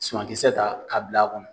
Sumakisɛ ta k'a bila a kɔnɔ.